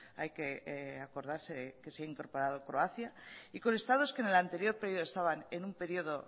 ay que acordarse que se ha incorporado croacia y con estados que en el anterior periodo estaban en un periodo